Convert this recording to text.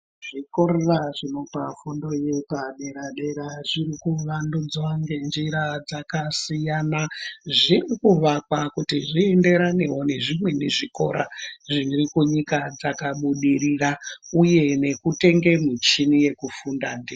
Zvikora zvinopa fundo yepadera dera zvirikuvandudzwa ngenjira dzakasiyana zvirikuvakwa kuti zvienderanewo nezvimweni zvikora zviri kunyika dzakabudirira uye nekutenge michini yekufunda ndiyo.